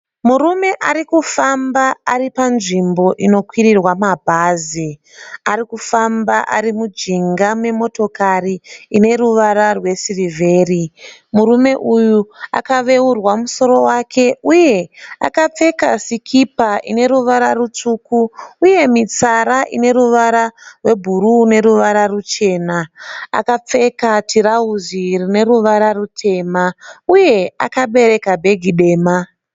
Murume ari kufamba ari panzvimbo unokwirirwa mabhazi. Ari kufamba ari mujinga memotokari ine ruvara rwesirivheri. Murume uyu akaveurwa musoro wake uye akapfeka sikipa ine ruvara rutsvuku uye mitsara ine ruvara rwebhuruu neruvara ruchena. Akapfeka tirauzi rine ruvara rutema uye akabereka bhegi dema.